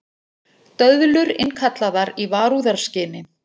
Döðlur innkallaðar í varúðarskyni